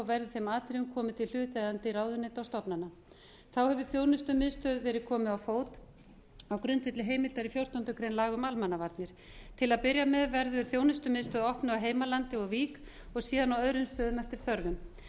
verður þeim atriðum komið til hlutaðeigandi ráðuneyta og stofnana þá hefur þjónustumiðstöð verið komið á fót á grundvelli heimildar í fjórtándu grein laga um almannavarnir til að byrja með verður þjónustumiðstöð opnuð á heimalandi og í vík og síðan á öðrum stöðum eftir þörfum